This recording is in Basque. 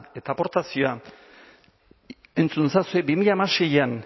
eta aportazioa entzun ezazue bi mila hamaseian